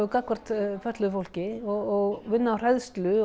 gagnvart fötluðu fólki og vinna á hræðslu